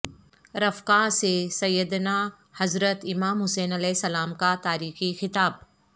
رفقاء سے سیدنا حضرت امام حسین علیہ السلام کا تاریخی خطاب